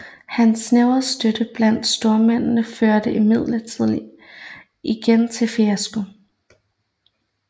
Hans snævre støtte blandt stormændene førte imidlertid igen til fiasko